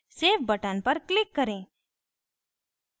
save button पर click करें